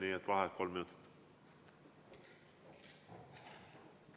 Nii et vaheaeg kolm minutit.